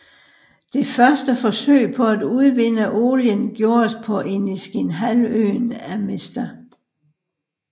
Det første forsøg på at udvinde olien gjordes på Iniskinhalvøen af Mr